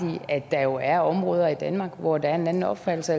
at der jo er områder i danmark hvor der er en anden opfattelse